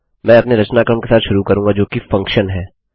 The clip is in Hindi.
मैं अपने रचनाक्रम के साथ शुरू करूँगा जोकि फंक्शन है